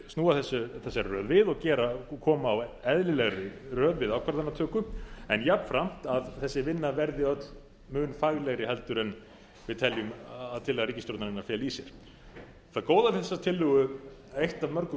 snúa þessari röð við og koma á eðlilegri röð við ákvarðanatöku en jafnframt að þessi vinna verði öll mun faglegri en við teljum að tillaga ríkisstjórnarinnar feli í sér það góða við þessa tillögu eitt af mörgu